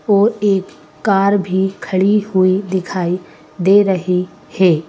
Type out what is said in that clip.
और एक कार भी खड़ी हुई दिखाई दे रही है।